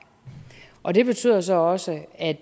og det betyder så også at